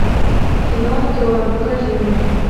кино трон покажи мне